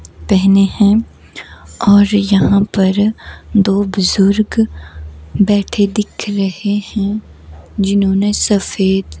पहने हैंऔर यहां पर दो बुजुर्ग बैठे दिख रहे हैं जिन्होंने सफेद--